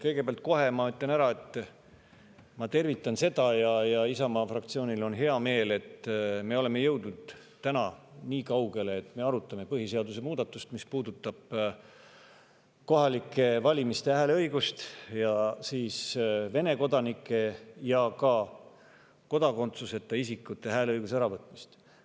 Kõigepealt ütlen kohe ära, et ma tervitan seda ja Isamaa fraktsioonil on hea meel, et me oleme jõudnud täna nii kaugele, et me arutame põhiseaduse muudatust, mis puudutab kohalikel valimistel hääleõigust ja Vene kodanikelt ja kodakondsuseta isikutelt hääleõiguse äravõtmist.